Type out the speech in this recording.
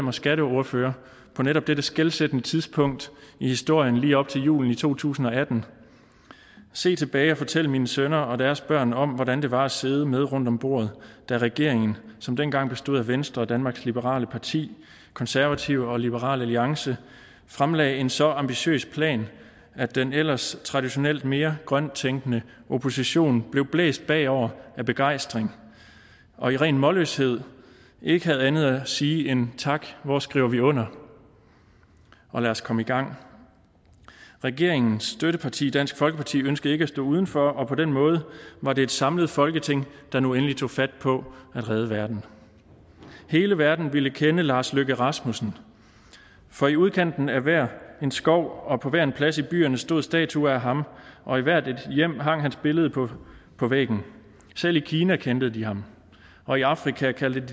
og skatteordfører på netop dette skelsættende tidspunkt i historien lige op til julen to tusind og atten se tilbage og fortælle mine sønner og deres børn om hvordan det var at sidde med rundt om bordet da regeringen som dengang bestod af venstre danmarks liberale parti konservative og liberal alliance fremlagde en så ambitiøs plan at den ellers traditionelt mere grønt tænkende opposition blev blæst bagover af begejstring og i ren målløshed ikke havde andet at sige end tak hvor skriver vi under og lad os komme i gang regeringens støtteparti dansk folkeparti ønskede ikke at stå uden for og på den måde var det et samlet folketing der nu endelig tog fat på at redde verden hele verden ville kende lars løkke rasmussen for i udkanten af hver en skov og på hver en plads i byerne stod statuer af ham og i hvert et hjem hang hans billede på på væggen selv i kina kendte de ham og i afrika kaldte